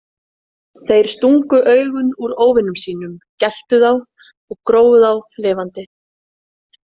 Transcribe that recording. Þeir stungu augun úr óvinum sínum, geltu þá, grófu þá lifandi.